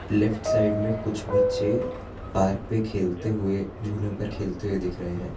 Left side में कुछ बच्चे पार्क पे खेलते हुए झूलों पर खेलते हुए दिख रहे हैं।